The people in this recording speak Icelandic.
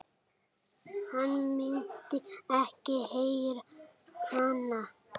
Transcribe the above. Hann myndi ekki heyra hana.